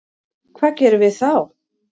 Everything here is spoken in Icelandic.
Hvað gerum við þá?